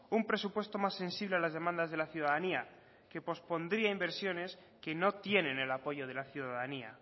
un presupuesto más sensible a las demandas de la ciudadanía que pospondría inversiones que no tienen el apoyo de la ciudadanía